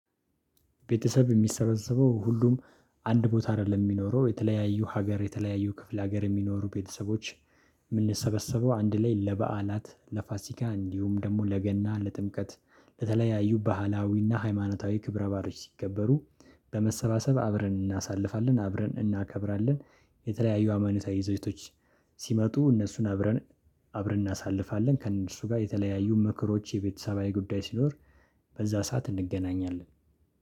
ቤተሰብ የሚሰበሰበው ሁሉም አንድ ቦታ አይደለም የሚኖረው የተለያዩ ሀገር የተለያዩ ክፍለ ሀገር የሚኖሩ ቤተሰቦች የምንሰበሰበው አንድ ላይ ለበዓላት ለፋሲካ እንዲሁም ደግሞ ለገና ለጥምቀት ለተለያዩ ባህላዊና ሃይማኖታዊ ክብረ ባአሎች ሲከበሩ በመሰባሰብ አብረን እናሳልፋለን አብረን እናከብራለን። የተለያዩ ሃይማነታዊ ይዘቶች ሲመጡ እነሱን አብረን አብረን እናሳልፋለን። ከእነርሱ ጋር የተለያዩ ምክሮች የቤተሰባዊ ጉዳይ ሲኖር በዛ ሰዓት እንገናኛለን